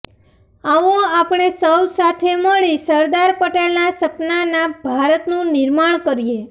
આવો આપણે સૌ સાથે મળી સરદાર પટેલના સપનાના ભારતનું નિર્માણ કરીએ